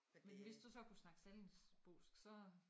Men hvis du så kunne snakke sallingbosk så